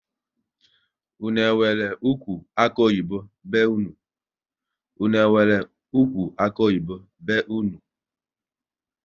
Unu enwere ụkwụ akuoyibo be unu?